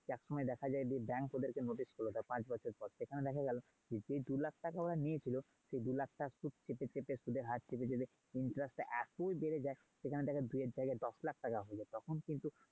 এক এক সময় দেখা যায় bank ওদের কে notice করলো ধর পাঁচ বছর পর। সেখানে দেখা গেলো যে দু লাখ টাকা ওরা নিয়েছিল সে দু লাখ টাকায় চেপে চেপে শুদ্ধের হার চেপে চেপে interest টা এতোই বেড়ে যায় সেখানে তাদের দু য়ের জায়গায় দশ লাখ টাকা হয়ে যায়। তখন কিন্তু!